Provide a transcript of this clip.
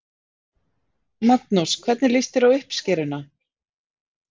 Magnús: Hvernig líst þér á uppskeruna?